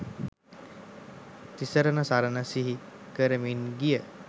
තිසරණ සරණ සිහි කරමින් ගිය